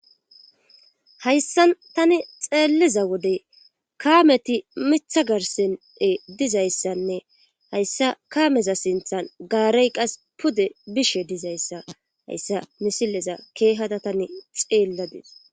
Hayssan tani xeelliza wodey kaameti mithagarsene dizayssanne hayssa kaameza sinthan gaarey qas pude bishe dizayssa hayssa misilleza keehada tani xeelladees.